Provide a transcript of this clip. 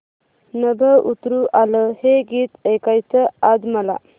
नभं उतरू आलं हे गीत ऐकायचंय आज मला